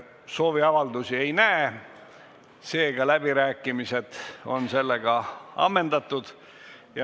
Sooviavaldusi ei näe, seega on läbirääkimised ammendatud.